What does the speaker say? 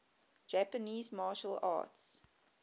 japanese martial arts